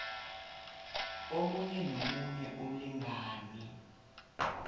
omunye nomunye umlingani